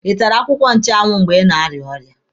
Ị tara akwụkwọ nchụanwụ mgbe ị na-arịa ọrịa?